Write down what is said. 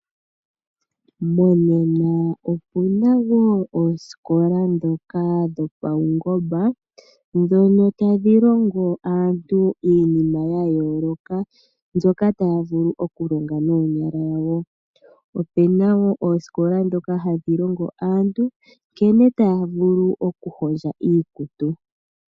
Monena opu na wo oosikola ndhoka dhopaungomba, ndhono tadhi longo aantu iinima ya yooloka mbyoka taya vulu okulonga noonyala dhawo. Opu na wo oosikola ndhoka hadhi longo aantu nkene taya vulu okuhondja iikutu.